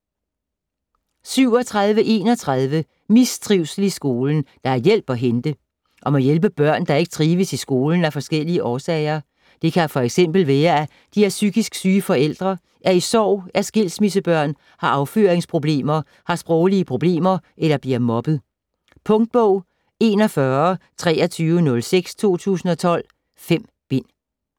37.31 Mistrivsel i skolen: der er hjælp at hente Om at hjælpe børn der ikke trives i skolen af forskellige årsager. Det kan f.eks. være at de har psykisk syge forældre, er i sorg, er skilsmissebørn, har afføringsproblemer, har sproglige problemer eller bliver mobbet. Punktbog 412306 2012. 5 bind.